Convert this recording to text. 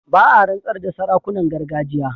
Ba a rantsar da sarakunan gargajiya.